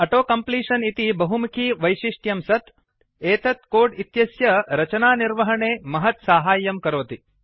auto completion इति बहुमुखि वैशिष्ट्यं सत् एतत् कोड् इत्यस्य रचनानिर्वहणे महत् साहाय्यं करोति